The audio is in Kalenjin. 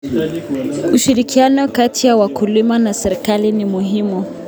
. Ushirikiano kati ya wakulima na serikali ni muhimu.